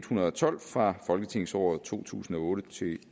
hundrede og tolv fra folketingsåret to tusind og otte til